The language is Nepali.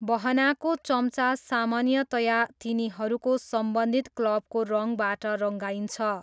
बहनाको चम्चा सामान्यतया तिनीहरूको सम्बन्धित क्लबको रङबाट रङ्गाइन्छ।